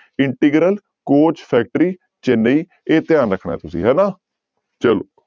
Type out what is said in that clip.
Integral coach factory Chennai ਇਹ ਧਿਆਨ ਰੱਖਣਾ ਹੈ ਤੁਸੀਂ ਹਨਾ ਚਲੋ।